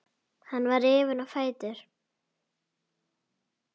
Hann var rifinn á fætur.